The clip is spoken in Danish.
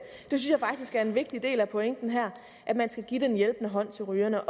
jeg er en vigtig del af pointen her at man skal give den hjælpende hånd til rygerne